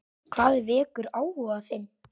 Hvað vekur áhuga þinn?